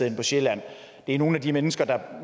hen på sjælland det er nogle af de mennesker der